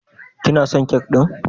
Kina son kek ɗin?